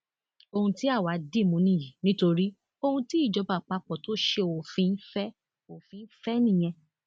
ohun tí àwa dì mú nìyí nítorí ohun tí ìjọba àpapọ tó ṣe òfin fẹ òfin fẹ nìyẹn